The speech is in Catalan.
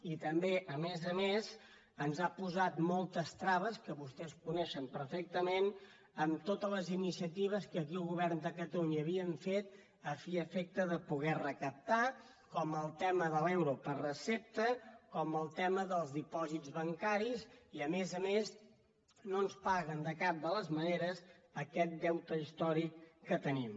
i també a més a més ens ha posat moltes traves que vostès coneixen perfectament en totes les iniciatives que aquí al go·vern de catalunya havíem fet a fi i efecte de poder re·captar com el tema de l’euro per recepta com el tema dels dipòsits bancaris i a més a més no ens paguen de cap de les maneres aquest deute històric que tenim